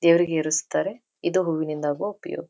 ದೇವರಿಗೆ ಏರಿಸ್ತಾರೆ ಇದು ಹೂವಿಂದಾಗುವ ಉಪಯೋಗ.